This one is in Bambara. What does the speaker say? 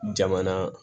Jamana